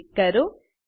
પર ક્લિક કરો